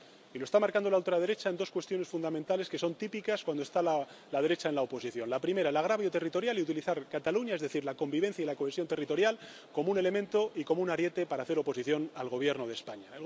Y lo está marcando la ultraderecha en dos cuestiones fundamentales que son típicas cuando la derecha está en la oposición la primera, el agravio territorial y utilizar Cataluña, es decir, la convivencia y la cohesión territorial, como un elemento y como un ariete para hacer oposición al Gobierno de España.